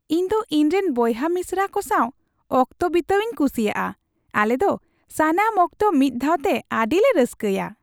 ᱤᱧ ᱫᱚ ᱤᱧᱨᱮᱱ ᱵᱚᱭᱦᱟ ᱢᱤᱥᱨᱟ ᱠᱚ ᱥᱟᱣ ᱚᱠᱛᱚ ᱵᱤᱛᱟᱹᱣᱤᱧ ᱠᱩᱥᱤᱭᱟᱜᱼᱟ ᱾ ᱟᱞᱮ ᱫᱚ ᱥᱟᱱᱟᱢ ᱚᱠᱛᱚ ᱢᱤᱫ ᱫᱷᱟᱣᱛᱮ ᱟᱹᱰᱤᱞᱮ ᱨᱟᱹᱥᱠᱟᱹᱭᱟ ᱾